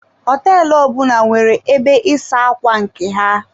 Hoteelu ọbụna nwere ebe ịsa ákwà nke ha.